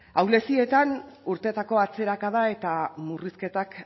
ahulezietan urtetako atzerakada eta murrizketak